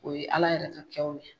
O ye Ala yɛrɛ ka kɛw ye.